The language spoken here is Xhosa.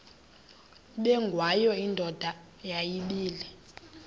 ubengwayo indoda yayibile